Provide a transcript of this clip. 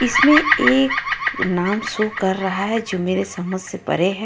इसमें एक नाम शो कर रहा हे जो मेरे समज से परे हे.